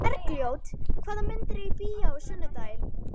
Bergljót, hvaða myndir eru í bíó á sunnudaginn?